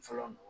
Fɔlɔ